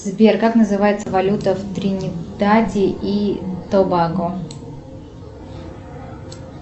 сбер как называется валюта в тринидаде и тобаго